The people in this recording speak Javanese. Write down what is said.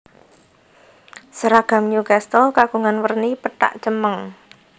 Seragam Newcastle kagungan werni pethak cemeng